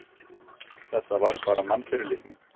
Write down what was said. Þetta var bara mannfyrirlitning.